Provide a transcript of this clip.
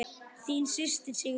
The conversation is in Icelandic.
Þín systir, Sigrún.